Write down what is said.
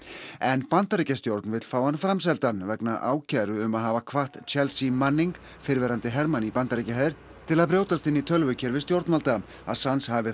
en Bandaríkjastjórn vill fá hann framseldan vegna ákæru um að hafa hvatt Chelsea Manning fyrrverandi í Bandaríkjaher til að brjótast inn í tölvukerfi stjórnvalda Assange hafi